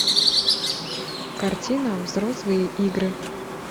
картина взрослые игры